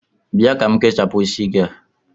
Bịa ka m kechapụ isi gị a!